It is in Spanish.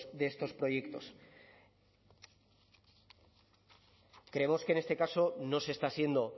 de estos proyectos creemos que en este caso no se está siendo